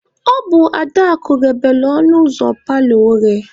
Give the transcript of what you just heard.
Ọ bụ Adaakụ ghebelu ọnụ ụzọ paalọ oghe.